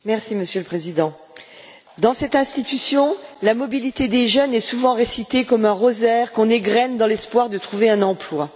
Monsieur le Président, dans cette institution, le couplet de la mobilité des jeunes est souvent récité comme un rosaire qu'on égrène dans l'espoir de trouver un emploi.